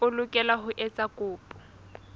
o lokela ho etsa kopo